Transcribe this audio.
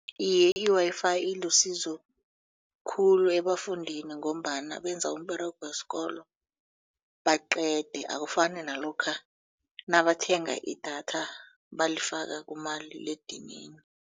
Iye, i-Wi-Fi ilisizo khulu ebafundini ngombana benza umberego wesikolo baqede akufani nalokha nabathenga idatha balifake kumaliledinini.